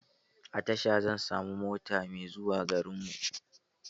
A tasha zan samu mota mai zuwa garinmu.